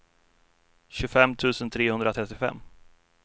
tjugofem tusen trehundratrettiofem